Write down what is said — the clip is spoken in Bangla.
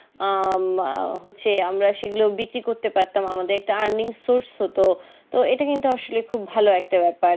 আহ হচ্ছে আমরা সেগুলো বিক্রি করতে পারতাম আমাদের একটা earning source হতো তো ইটা কিন্তু আসলে খুব ভালো একটা বেপার